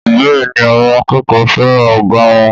Bẹ́ẹ̀ni, àwọn akẹ́kọ̀ọ́ fẹ́ràn ọ̀gá wọn